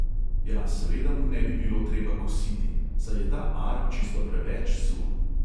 Ja, seveda mu ne bi bilo treba kositi, saj je ta ar čisto preveč suh.